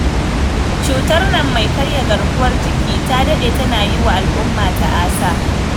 Cutar nan mai karya garkuwar jiki ta daɗe tana yi wa al'umma ta'asa.